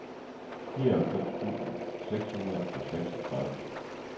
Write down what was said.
nioghalvfems tusind seks hundrede og seksogtredive